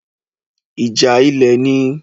ìjà ilẹ̀ ni.